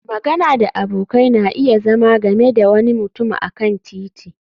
magana da abokai na iya zama game da wani mutum a kan titi